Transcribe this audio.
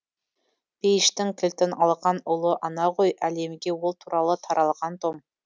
пейіштің кілтін алған ұлы ана ғой әлемге ол туралы таралған том